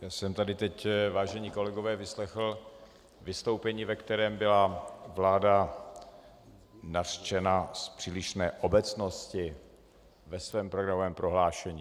Já jsem tady teď, vážení kolegové, vyslechl vystoupení, ve kterém byla vláda nařčena z přílišné obecnosti ve svém programovém prohlášení.